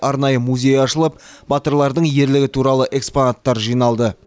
арнайы музей ашылып батырлардың ерлігі туралы экспонаттар жиналды